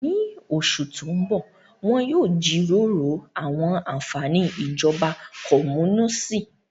Ní oṣù tó ń bọ̀, wọn yóò jíròrò àwọn àfààní ìjọba kọ́múníìsì.